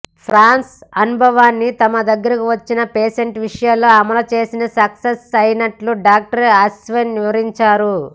France అనుభవాన్ని తమ దగ్గరకు వచ్చిన పేషెంట్ విషయంలో అమలు చేసి సక్సెస్ అయినట్లుగా డాక్టర్ అశ్విన్ వివరించారు